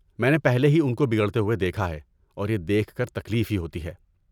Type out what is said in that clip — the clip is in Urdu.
میں نے پہلے ہی ان کو بگڑتے ہوتے دیکھا ہے اور یہ دیکھ کر تکلیف ہی ہوتی ہے۔